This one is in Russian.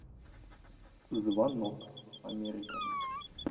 звонок америка